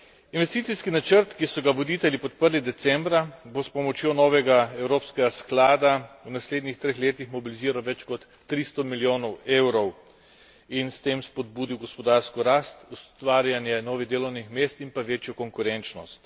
Investicijski načrt, ki so ga voditelji podprli decembra, bo s pomočjo novega evropskega sklada v naslednjih treh letih mobiliziral več kot tristo milijonov evrov in s tem spodbudil gospodarsko rast, ustvarjanje novih delovnih mest in pa večjo konkurenčnost.